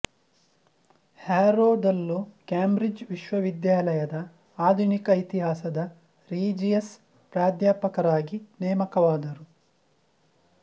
ಹ್ಯಾರೋದಲ್ಲೂ Cambridge ವಿಶ್ವವಿದ್ಯಾಲಯದ ಆಧುನಿಕ ಇತಿಹಾಸದ ರೀಜಿಯಸ್ ಪ್ರಾಧ್ಯಾಪಕರಾಗಿ ನೇಮಕವಾದರು